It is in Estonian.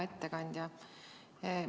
Hea ettekandja!